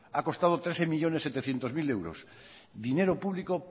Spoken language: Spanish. ha costado trece millónes setecientos mil euros dinero público